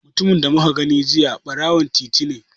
Mutumin da muka gani jiya ɓarawon titi ne.